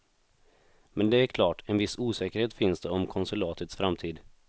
Men det är klart, en viss osäkerhet finns det om konsulatets framtid.